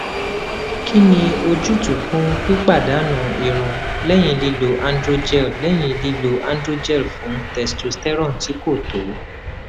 kí ni ojútùú fún pípadànù irun lẹyìn lílo androgel lẹyìn lílo androgel fún testosterone tí kò tó